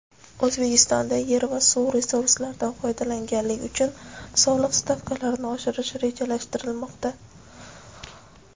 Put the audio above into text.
O‘zbekistonda yer va suv resurslaridan foydalanganlik uchun soliq stavkalarini ochirish rejalashtirilmoqda.